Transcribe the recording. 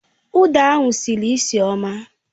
Uda ahụ sịrị nsị ọma